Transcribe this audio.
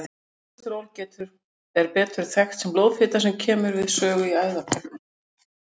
Kólesteról er betur þekkt sem blóðfita sem kemur við sögu í æðakölkun.